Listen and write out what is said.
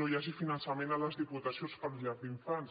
no hi hagi finançament a les diputacions per a llars d’infants